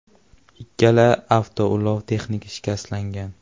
Ikkala avtoulov texnik shikastlangan.